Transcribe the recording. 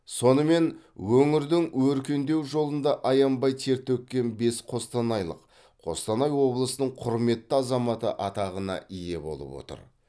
сонымен өңірдің өркендеу жолында аянбай тер төккен бес қостанайлық қостанай облысының құрметті азаматы атағына ие болып отыр